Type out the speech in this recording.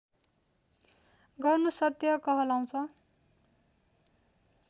गर्नु सत्य कहलाउँछ